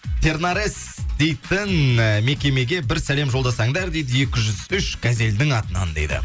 тернарес дейтін і мекемеге бір сәлем жолдасаңдар дейді екі жүз үш газелінің атынан дейді